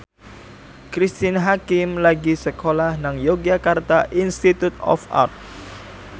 Cristine Hakim lagi sekolah nang Yogyakarta Institute of Art